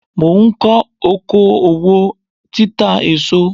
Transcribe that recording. Mò ń kọ́ oko òwò títa èso.